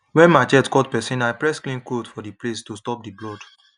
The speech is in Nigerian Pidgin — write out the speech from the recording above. when machete cut person i press clean cloth for the place to stop the blood